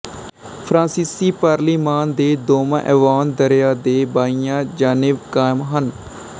ਫਰਾਂਸੀਸੀ ਪਾਰਲੀਮਾਨ ਦੇ ਦੋਨਾਂ ਐਵਾਨ ਦਰਿਆ ਦੇ ਬਾਈਆਂ ਜਾਨਿਬ ਕਾਇਮ ਹਨ